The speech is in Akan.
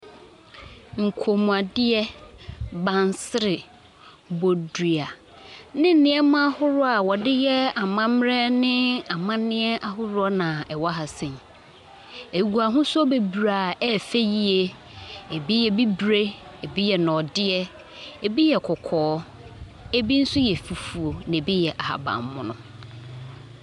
Nkɔmmuadeɛ, bansere, bodua, ne nneɛma ahoroɔ a wɔde yɛ amammerɛ ne amanneɛ ahoroɔ na ɛwɔ ha sei. Ɛgu ahosuo bebree a ɛyɛ fɛ yie. Ebi yɛ bibire, ebi yɛ nnɔdeɛ, ebi yɛ kɔkɔɔ, ebi nso yɛ fufuo, na ebi yɛ ahaban mono.